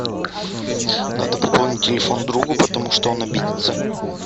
надо пополнить телефон другу потому что он обидится